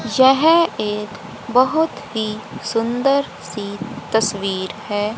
यह एक बहोत ही सुंदर सी तस्वीर है।